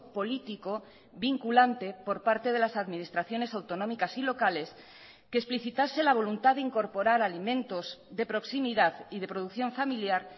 político vinculante por parte de las administraciones autonómicas y locales que explicitase la voluntad de incorporar alimentos de proximidad y de producción familiar